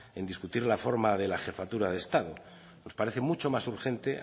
en discutir la forma de la jefatura de estado nos parece mucho más urgente